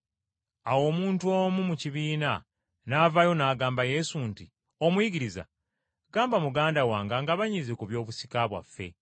Awo omuntu omu mu kibiina n’avaayo n’agamba Yesu nti, “Omuyigiriza, gamba muganda wange angabanyize ku by’obusika bwaffe.”